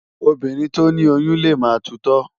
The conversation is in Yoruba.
Óbírìn tó ni óyùn lé má tútò